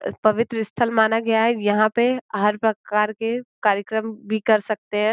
पवित्र स्थल माना गया है। यहाँ पे हर प्रकार के कार्यक्रम भी कर सकते हैं।